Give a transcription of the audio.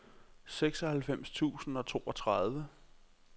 seksoghalvfems tusind og toogtredive